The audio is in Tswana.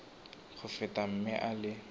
go feta mme a le